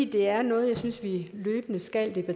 det er noget jeg synes vi løbende skal